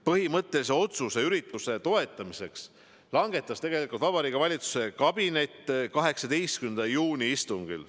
Põhimõttelise otsuse üritust toetada langetas Vabariigi Valitsuse kabinet 18. juuni istungil.